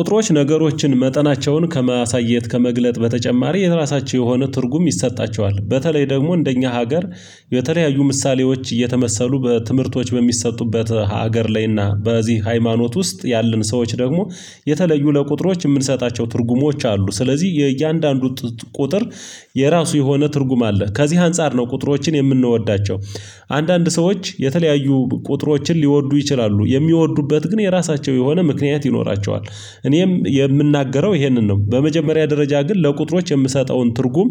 ቁጥሮች ነገሮችን መጠናቸውን ከማሳየት ከመግለጥ በተጨማሪ የራሳቸው የሆነ ትርጉም ይሰጣቸዋል በተለይ ደግሞ እንደኛ ሀገር የተለያዩ ምሳሌዎች እየተመሰሉ በትምህርቶች በሚሰጡበት ሀገር ላይና በዚህ ሃይማኖት ውስጥ ያለን ሰዎች ደግሞ የተለዩ ለቁጥሮች የምንሰጣቸው ትርጉሞች አሉ። ስለዚህ የእያንዳንዱ ቁጥር የራሱ የሆነ ትርጉም አለ ከዚህ አንፃር ነው ቁጥሮችን የምንወዳቸው። አንዳንድ ሰዎች የተለያዩ ቁጥሮችን ሊወዱ ይችላሉ የሚወዱበት ግን የራሳቸው የሆነ ምክንያት ይኖራቸዋል። እኔም የምናገረው ይሄንን ነው። በመጀመሪያ ደረጃ ግን ለቁጥሮች የምሰጠውን ትርጉም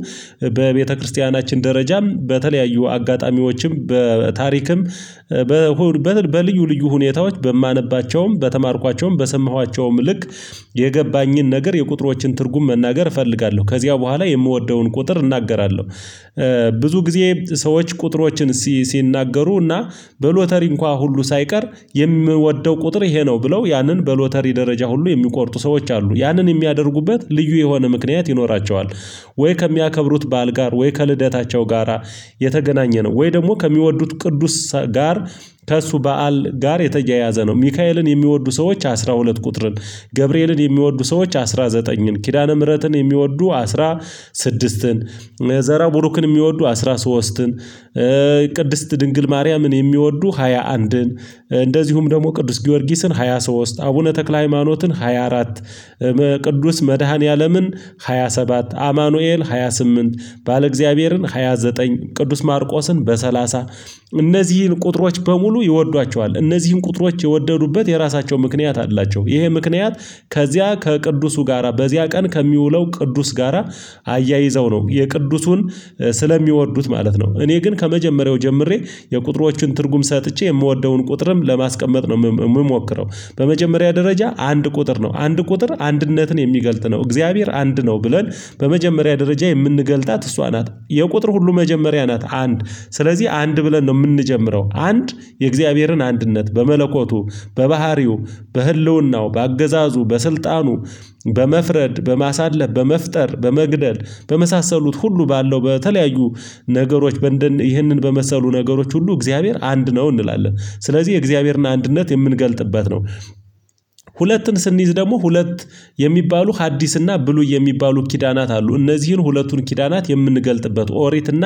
በቤተክርስቲያናችን ደረጃም በተለያዩ አጋጣሚዎችም በታሪክም በልዩ ልዩ ሁኔታዎች በማነባቸውም በተማርኳቸውም በሰማኋቸውም ልክ የገባኝን ነገር የቁጥሮችን ትርጉም መናገር እፈልጋለሁ ከዚያ በኋላ የምወደውን ቁጥር እናገራለሁ። ብዙ ጊዜ ሰዎች ቁጥሮችን ሲናገሩ እና በሎተሪ እንኳን ሁሉ ሳይቀር የምወደው ቁጥር ይሄ ነው ብለው ያንን በሎተሪ ደረጃ ሁሉ የሚቆርጡ ሰዎች አሉ ያንን የሚያደርጉበት ልዩ የሆነ ምክንያት ይኖራቸዋል። ወይ ከሚያከብሩት በዓል ጋር ወይ ከልደታቸው ጋራ የተገናኘ ነው ወይ ደግሞ ከሚወዱት ቅዱስ ጋር ከእሱ በዓል ጋር የተያያዘ ነው። ሚካኤልን የሚወዱ ሰዎች አስራ ሁለት ቁጥርን ገብርኤልን የሚወዱ ሰዎች አስራ ዘጠኝን ኪዳነ ምህረትን የሚወዱ አስራ ስድስትን ዘርዐ ብሩክን የሚወዱ አስራ ሶስትን። ቅድስት ድንግል ማርያምን የሚወዱ ሃያ አንድን። እንደዚሁም ደግሞ ቅዱስ ጊዮርጊስን ሃያ ሶስት አቡነ ተክለ ሃይማኖትን ሃያ አራት። ቅዱስ መድኃኒዓለምን ሃያ ሰባት አማኑኤል ሃያ ስምንት በዐለ እግዚአብሔርን ሃያ ዘጠኝ ቅዱስ ማርቆስን በሰላሳ። እነዚህን ቁጥሮች በሙሉ ይወዷቸዋል እነዚህን ቁጥሮች የወደዱበት የራሳቸው ምክንያት አላቸው። ይሄ ምክንያት ከዚያ ከቅዱሱ ጋራ በዚያ ቀን ከሚውለው ቅዱስ ጋራ አያይዘው ነው። የቅዱሱን ስለሚወዱት ማለት ነው። እኔ ግን ከመጀመሪያው ጀምሬ የቁጥሮቹን ትርጉም ሰጥቼ የምወደውን ቁጥርም ለማስቀመጥ ነው የምሞክረው። በመጀመሪያ ደረጃ አንድ ቁጥር ነው አንድ ቁጥር አንድነትን የሚገልጥ ነው እግዚአብሔር አንድ ነው ብለን በመጀመሪያ ደረጃ የምንገልጣት እሷ ናት። የቁጥር ሁሉ መጀመሪያ ናት አንድ ስለዚህ አንድ ብለን ነው የምንጀምረው። አንድ የእግዚአብሔርን አንድነት በመለኮቱ በባህሪው በህልውናው በአገዛዙ በስልጣኑ በመፍረድ በማሳለፍ በመፍጠር በመግደል በመሳሰሉት ሁሉ ባለው በተለያዩ ነገሮች በንደን ይህንን በመሰሉ ነገሮች ሁሉ እግዚአብሔር አንድ ነው እንላለን። ስለዚህ የእግዚአብሔርን አንድነት የምንገልጥበት ነው። ሁለትን ስንይዝ ደግሞ ሁለት የሚባሉ ሀዲስና ብሉይ የሚባሉ ኪዳናት አሉ እነዚህን ሁለቱን ኪዳናት የምንገልጥበት ኦሪትና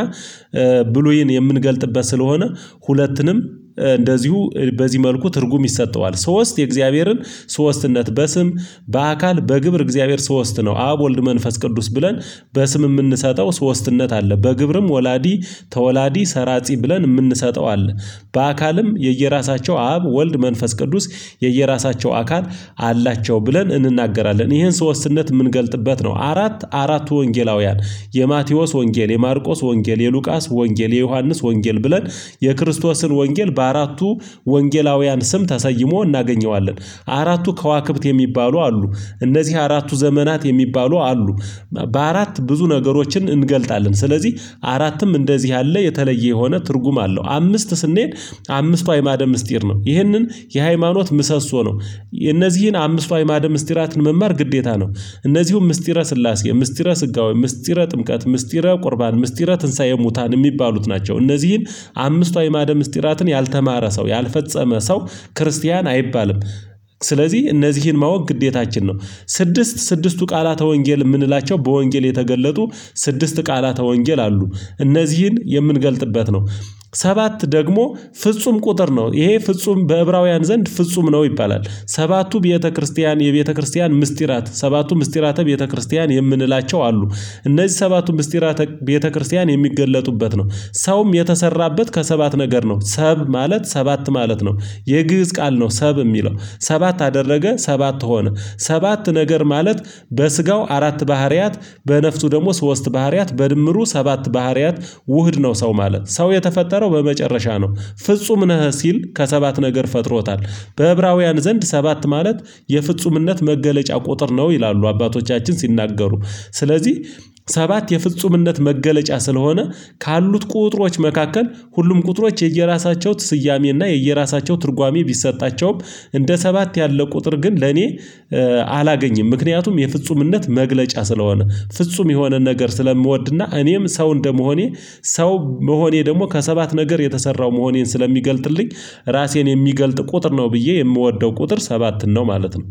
ብሉይን የምንገልጥበት ስለሆነ ሁለትንም እንደዚሁ በዚህ መልኩ ትርጉም ይሰጠዋል። ሶስት የእግዚአብሔርን ሶስትነት በስም በአካል በግብር እግዚአብሔር ሶስት ነው አብ ወልድ መንፈስ ቅዱስ ብለን በስም የምንሰጠው ሶስትነት አለ። በግብርም ወላዲ ተወላዲ ሰራጺ ብለን የምንሰጠው አለ። በአካልም የየራሳቸው አብ ወልድ መንፈስ ቅዱስ የየራሳቸው አካል አላቸው ብለን እንናገራለን ይሄን ሶስትነት የምንገልጥበት ነው። አራት አራቱ ወንጌላውያን የማቴዎስ ወንጌል የማርቆስ ወንጌል የሉቃስ ወንጌል የዮሐንስ ወንጌል ብለን የክርስቶስን ወንጌል በአራቱ ወንጌላውያን ስም ተሰይሞ እናገኘዋለን። አራቱ ከዋክብት የሚባሉ አሉ። እነዚህ አራቱ ዘመናት የሚባሉ አሉ። በአራት ብዙ ነገሮችን እንገልጣለን ስለዚህ አራትም እንደዚህ ያለ የተለየ የሆነ ትርጉም አለው። አምስት ስንሄድ አምስቱ አይማደ ምስጢር ነው ይህንን የሃይማኖት ምሰሶ ነው። እነዚህን አምስቱ አይማደ ምስጢራትን መማር ግዴታ ነው። እነዚህም ምስጢረ ስላሴ ምስጢረ ስጋዊ ምስጢረ ጥምቀት ምስጢረ ቁርባን ምስጢረ ትንሳኤ ሙታን የሚባሉት ናቸው። እነዚህን አምስቱ አዕማደ ምስጢራትን ያልተማረ ሰው ያልፈጸመ ሰው ክርስቲያን አይባልም። ስለዚህ እነዚህን ማወቅ ግዴታችን ነው። ስድስት ስድስቱ ቃላተ ወንጌል የምንላቸው በወንጌል የተገለጡ ስድስት ቃላተ ወንጌል አሉ። እነዚህን የምንገልጥበት ነው። ሰባት ደግሞ ፍጹም ቁጥር ነው ይሄ ፍጹም በዕብራውያን ዘንድ ፍጹም ነው ይባላል። ሰባቱ ቤተክርስቲያን የቤተክርስቲያን ምስጢራት ሰባቱ ምስጢራተ ቤተክርስቲያን የምንላቸው አሉ። እነዚህ ሰባቱ ምስጢራተ ቤተክርስቲያን የሚገለጡበት ነው። ሰውም የተሰራበት ከሰባት ነገር ነው ሰብ ማለት ሰባት ማለት ነው። የግዕዝ ቃል ነው ሰብ የሚለው ሰባት አደረገ ሰባት ሆነ። ሰባት ነገር ማለት በስጋው አራት ባህሪያት በነፍሱ ደግሞ ሶስት ባህሪያት በድምሩ ሰባት ባህሪያት ውህድ ነው ሰው ማለት ሰው የተፈጠረው በመጨረሻ ነው። ፍጹም ነህ ሲል ከሰባት ነገር ፈጥሮታል። በዕብራውያን ዘንድ ሰባት ማለት የፍጹምነት መገለጫ ቁጥር ነው ይላሉ። አባቶቻችን ሲናገሩ ስለዚህ ሰባት የፍጹምነት መገለጫ ስለሆነ ካሉት ቁጥሮች መካከል ሁሉም ቁጥሮች የየራሳቸው ትስያሜ እና የየራሳቸው ትርጓሜ ቢሰጣቸውም እንደ ሰባት ያለ ቁጥር ግን ለኔ አላገኝም ምክንያቱም የፍጹምነት መግለጫ ስለሆነ። ፍጹም የሆነ ነገር ስለምወድና እኔም ሰው እንደመሆኔ ሰው መሆኔ ደግሞ ከሰባት ነገር የተሰራው መሆኔን ስለሚገልጥልኝ ራሴን የሚገልጥ ቁጥር ነው ብዬ የምወደው ቁጥር ሰባትን ነው። ማለት ነው